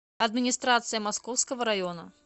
администрация московского района